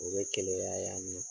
O be keleya yan nɔ.